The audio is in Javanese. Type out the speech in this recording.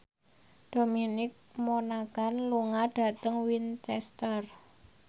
Dominic Monaghan lunga dhateng Winchester